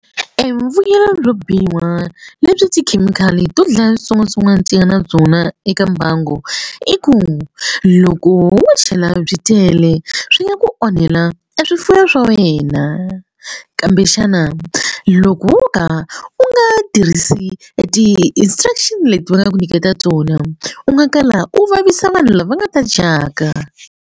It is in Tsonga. E mbuyelo byo biha lebyi tikhemikhali to dlaya switsongwatsongwana ti nga na byona eka mbangui i ku loko wo chela byi tele swi nga ku onhela e swifuwo swa wena kambe xana loko wo ka u nga tirhisi ti-instruction leti va nga ku nyiketa tona u nga kala u vavisa vanhu lava nga ta dyaka.